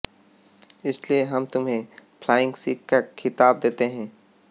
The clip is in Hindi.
इसलिए हम तुम्हें फ्लाइंग सिख का खिताब देते हैं